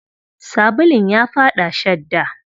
Sabulun ya faɗa shadda.